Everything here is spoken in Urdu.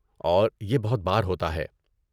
اور یہ بہت بار ہوتا ہے۔